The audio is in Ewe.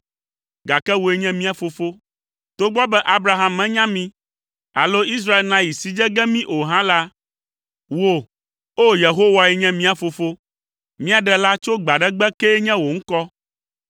gake wòe nye mia Fofo, togbɔ be Abraham menya mí alo Israel nayi si dze ge mi o hã la, wò, o, Yehowae nye mia Fofo, mía Ɖela tso gbe aɖe gbe kee nye wò ŋkɔ.